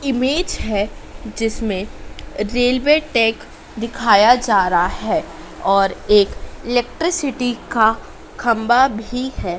Image है जिसमें railway track दिखाया जा रहा है और एक इलेक्ट्रिसिटी का खंभा भी है।